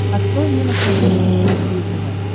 открой мне на смотрешке синергия тв